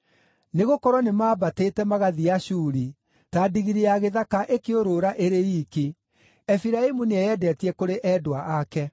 Nĩgũkorwo nĩmambatĩte, magathiĩ Ashuri, ta ndigiri ya gĩthaka ĩkĩũrũra ĩrĩ iiki. Efiraimu nĩeyendetie kũrĩ endwa ake.